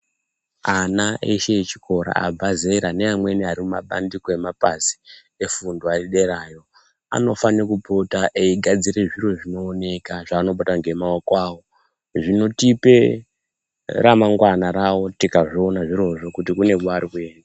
Ana eshe echikora abva zera neamweni arimumapandiko emapazi efundo ariderayo anofane kupota eigadzire zviro zvinooneka zvaanobata ngemaoko avo. Zvinotipe ramangwana ravo tikazviona zvirozvo kuti kune kwaari kuenda.